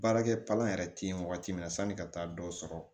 Baarakɛ palan yɛrɛ tɛ ye wagati min na sanni ka taa dɔ sɔrɔ